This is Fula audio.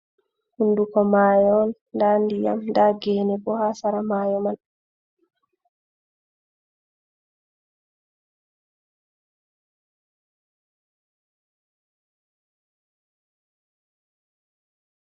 Hunduko mayo on nda ndiyam nda gene bo ha sera mayo man.